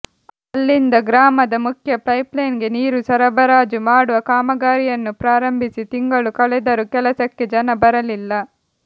ಅಲ್ಲಿಂದ ಗ್ರಾಮದ ಮುಖ್ಯ ಪೈಪ್ಲೈನ್ಗೆ ನೀರು ಸರಬರಾಜು ಮಾಡುವ ಕಾಮಗಾರಿಯನ್ನು ಪ್ರಾರಂಭಿಸಿ ತಿಂಗಳು ಕಳೆದರೂ ಕೆಲಸಕ್ಕೆ ಜನ ಬರಲಿಲ್ಲ